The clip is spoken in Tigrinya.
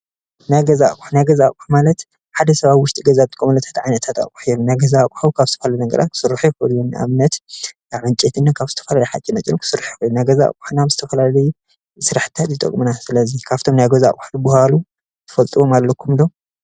ናይ ገዛ ኣቁሑ ናይ ገዛ ኣቁሑ ማለት ሓደ ሰብ ኣብ ውሽጢ ገዛ ዝጥቀመሉ ዓይነታት ኣቁሑ እዮም ። ናይ ገዛ ኣቁሑ ካብ ዝባህሉ ነገራት ክስርሑ ይክእሉ እዮም። ንኣብነት ካብ ዕንጨይቲና ዝተፈላለዩ ሓፂነ መፂን ክስርሑ ይክእሉ እዮም። ናይ ገዛ ኣቁሑ ንዝተፈላለዩ ስራሕትታት ንምስራሕ ይጠቅሙና። ስለዚ ካብቶም ናይ ገዛ ኣቁሑ ዝባህሉ ትፈልጥዎም ኣለኩም ዶ?